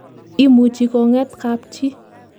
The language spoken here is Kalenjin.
imuchi koget kapchi